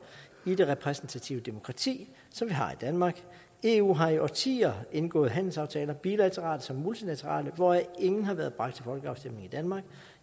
i det repræsentative demokrati som vi har i danmark eu har i årtier indgået handelsaftaler bilaterale som multilaterale hvoraf ingen har været bragt til folkeafstemning i danmark